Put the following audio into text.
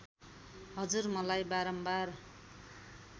हजुर मलाई बारम्बार